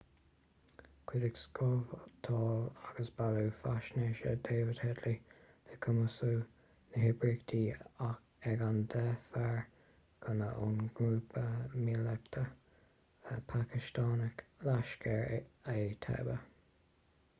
chuidigh scabhtáil agus bailiú faisnéise david headley le cumasú na hoibríochta ag an 10 fear gunna ón ngrúpa míleatach pacastánach laskhar-e-taiba